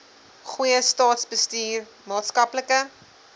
goeie staatsbestuur maatskaplike